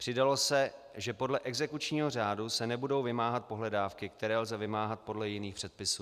Přidalo se, že podle exekučního řádu se nebudou vymáhat pohledávky, které lze vymáhat podle jiných předpisů.